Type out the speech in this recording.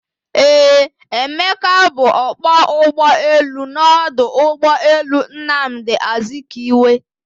Eeh, Emeka bu ọkpọ ụgbọelu n'ọdụ ụgbọelu Nnamdi Azikiwe